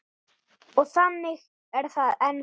Og þannig er það ennþá.